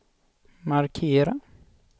markera